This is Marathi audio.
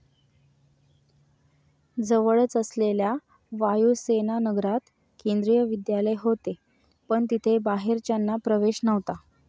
जवळच असलेल्या वायूसेनानगरात केंद्रीय विद्यालय होते, पण तिथे बाहेरच्यांना प्रवेश नव्हता.